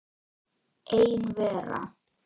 Ein vera.